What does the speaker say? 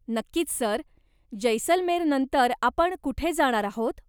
नक्चकीच sir, जैसलमेरनंतर आपण कुठे जाणार आहोत?